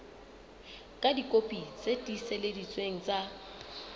ka dikopi tse tiiseleditsweng tsa